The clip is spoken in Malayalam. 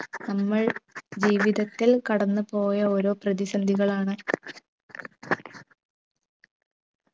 നമ്മൾ ജീവിതത്തിൽ കടന്നു പോയ ഓരോ പ്രതിസന്ധികളാണ്